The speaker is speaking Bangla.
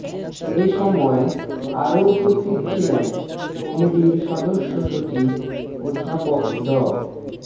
এ সময় আরো উপস্থিত ছিলেন কমিটির সদস্য সচিব অধ্যাপক ড